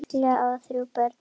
Erla á þrjú börn.